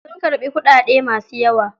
Sun karbi kuɗaɗe masu yawa.